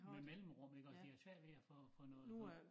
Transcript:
Med mellemrum iggås de havde svært ved at få få noget få